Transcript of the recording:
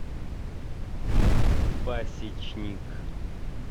пасечник